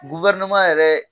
yɛrɛ